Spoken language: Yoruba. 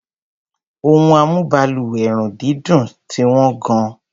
Ohun amúbalùwẹ̀-run-dídùn ti wọ́n gan-an.